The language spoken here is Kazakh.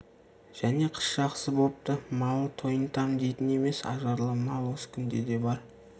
және қыс жақсы бопты мал тойынтам дейтін емес ажарлы мал осы күнде де бар